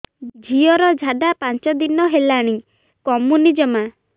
ଝିଅର ଝାଡା ପାଞ୍ଚ ଦିନ ହେଲାଣି କମୁନି ଜମା